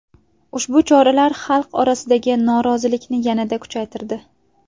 Ushbu choralar xalq orasidagi norozilikni yanada kuchaytirdi.